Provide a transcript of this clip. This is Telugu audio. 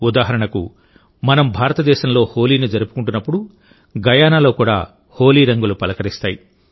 ఉదాహరణకుమనం భారతదేశంలో హోలీని జరుపుకుంటున్నప్పుడుగయానాలో కూడా హోలీ రంగులు పలకరిస్తాయి